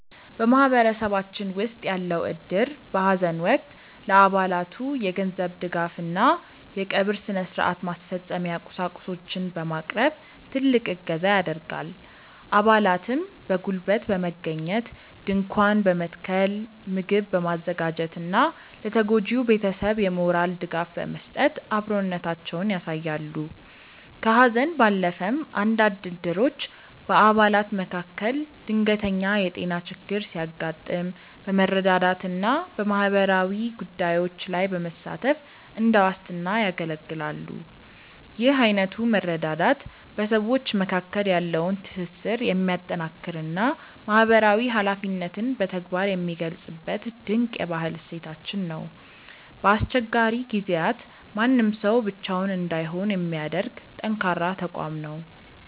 በማህበረሰባችን ውስጥ ያለው እድር በሐዘን ወቅት ለአባላቱ የገንዘብ ድጋፍና የቀብር ሥነ-ሥርዓት ማስፈጸሚያ ቁሳቁሶችን በማቅረብ ትልቅ እገዛ ያደርጋል። አባላትም በጉልበት በመገኘት ድንኳን በመትከል፣ ምግብ በማዘጋጀትና ለተጎጂው ቤተሰብ የሞራል ድጋፍ በመስጠት አብሮነታቸውን ያሳያሉ። ከሐዘን ባለፈም፣ አንዳንድ እድሮች በአባላት መካከል ድንገተኛ የጤና ችግር ሲያጋጥም በመረዳዳትና በማህበራዊ ጉዳዮች ላይ በመሳተፍ እንደ ዋስትና ያገለግላሉ። ይህ አይነቱ መረዳዳት በሰዎች መካከል ያለውን ትስስር የሚያጠናክርና ማህበራዊ ኃላፊነትን በተግባር የሚገልጽበት ድንቅ የባህል እሴታችን ነው። በአስቸጋሪ ጊዜያት ማንም ሰው ብቻውን እንዳይሆን የሚያደርግ ጠንካራ ተቋም ነው።